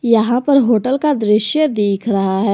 यहां पर होटल का दृश्य दिख रहा है।